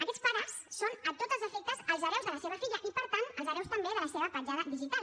aquests pares són a tots els efectes els hereus de la seva filla i per tant els hereus també de la seva petjada digital